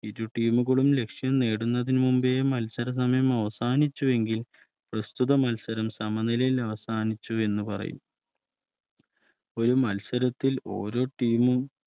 ഇരു Team കളും ലക്ഷ്യം നേടുന്നതിനു മുന്നേ മത്സരം അവസാനിച്ചുവെങ്കിൽ പ്രസ്തുത മത്സരം സമനിലയിൽ അവസാനിച്ചു എന്ന് പറയും ഒരു മത്സരത്തിൽ ഓരോ Team മും